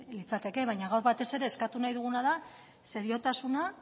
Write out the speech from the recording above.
litzateke baina gaur batez ere eskatu nahi duguna da seriotasuna